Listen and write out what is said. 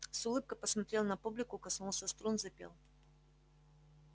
с улыбкой посмотрел на публику коснулся струн запел